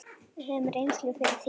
Við höfum reynslu fyrir því.